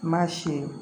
Mansin